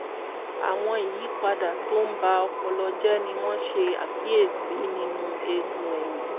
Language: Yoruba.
àwọn ìyípadà tó ń ba ọpọlọ jẹ́ ni wọ́n ṣàkíyèsí nínú eegun ẹ̀yìn